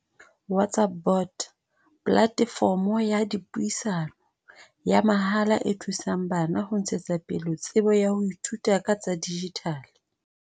WhatsApp bot, platefomo ya dipuisano, ya mahala e thusang bana ho ntshetsa pele tsebo ya ho ithuta ka tsa dijithale.